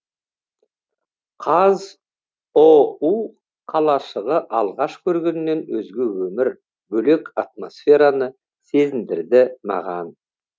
қазұу қалашығы алғаш көргеннен өзге өмір бөлек атмосфераны сезіндірді маған